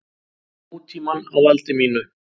Nútímann á valdi mínu.